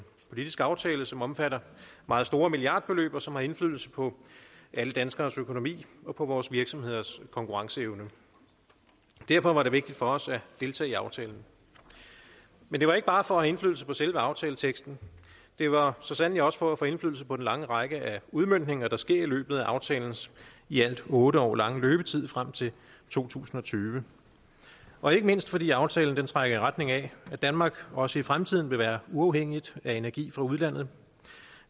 politisk aftale som omfatter meget store milliardbeløb og som har indflydelse på alle danskeres økonomi og på vores virksomheders konkurrenceevne derfor var det vigtigt for os at deltage i aftalen men det var ikke bare for at have indflydelse på selve aftaleteksten det var så sandelig også for at få indflydelse på den lange række af udmøntninger der sker i løbet af aftalens i alt otte år lange løbetid frem til to tusind og tyve og ikke mindst fordi aftalen trækker i retning af at danmark også i fremtiden vil være uafhængigt af energi fra udlandet